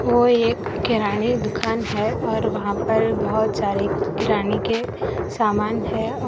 ओ एक किराने दुकान है और वहां पर बहोत सारे किराने के सामान है और --